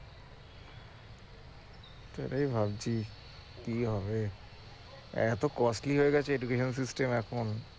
সেটাই ভাবছি কি হবে এত হয়ে গেছে এখন